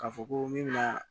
K'a fɔ ko min bɛ na